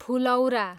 फुलौरा